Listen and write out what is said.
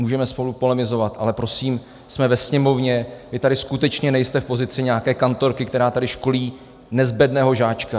Můžeme spolu polemizovat, ale prosím, jsme ve Sněmovně, vy tady skutečně nejste v pozici nějaké kantorky, která tady školí nezbedného žáčka.